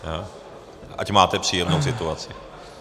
Ať máte příjemnou situaci.